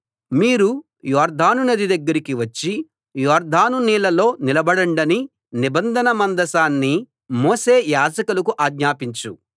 మీరు యొర్దాను నది దగ్గరికి వచ్చి యొర్దాను నీళ్ళలో నిలబడండని నిబంధన మందసాన్ని మోసే యాజకులకు ఆజ్ఞాపించు